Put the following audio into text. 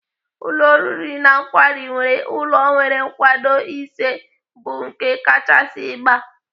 Ụlọ oriri na nkwari nwere ụlọ nwere nkwado ise bụ nke kachasị ịgba.